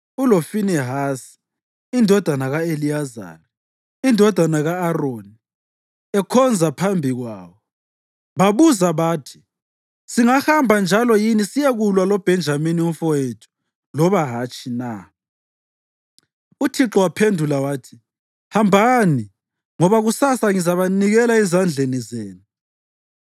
uloFinehasi indodana ka-Eliyazari, indodana ka-Aroni, ekhonza phambi kwawo.) Babuza bathi, “Singahamba njalo yini siyekulwa loBhenjamini umfowethu loba hatshi na?” UThixo waphendula wathi, “Hambani, ngoba kusasa ngizabanikela ezandleni zenu.”